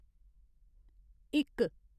इक